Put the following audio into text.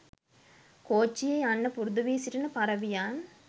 කෝච්චියේ යන්න පුරුදු වී සිටින පරවියන්.